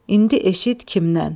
İndi eşit kimdən?